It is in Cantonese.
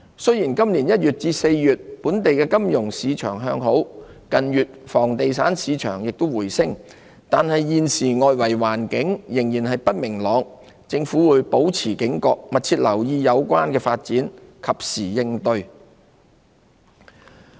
雖然今年1月至4月，本地金融市場向好，房地產市場近月亦回升，但外圍環境現時仍不明朗，政府會保持警覺，密切留意有關發展，及時應對。